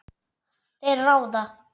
Þær ráða.